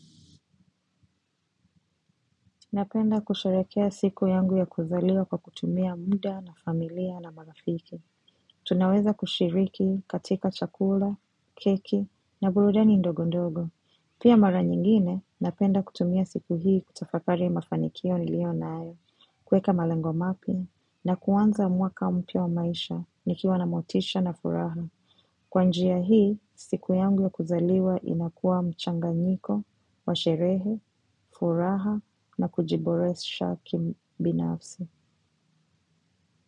Napenda kusherehekea siku yangu ya kuzaliwa kwa kutumia muda na familia na marafiki. Tunaweza kushiriki katika chakula, keki na burudani ndogo ndogo. Pia mara nyingine, napenda kutumia siku hii kutafakari mafanikio nilio nayo. Kuweka malengo mapya na kuanza mwaka mpya wa maisha, nikiwa na motisha na furaha. Kwa njia hii, siku yangu ya kuzaliwa inakuwa mchanganyiko, wa sherehe, furaha na kujiboresha kibinafsi.